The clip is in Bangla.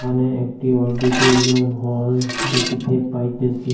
এখানে একটি অডিটরিয়াম হল দেকিতে পাইতেসি।